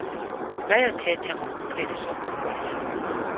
bayathetha ngokupheliswa kwepoliyo